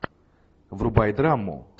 врубай драму